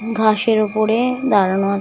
ঘাসের ওপরে দাঁড়ানো আছে।